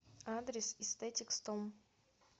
адрес эстетик стом